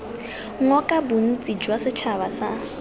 ngoka bontsi jwa setšhaba sa